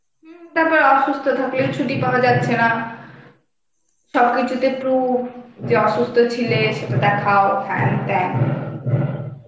তারপর অসুস্থ থাকলে ছুটি পাওয়া যাচ্ছে না. সবকিছুতে proof যে অসুস্থ ছিলে সেটা দেখাও হ্যান ত্যান.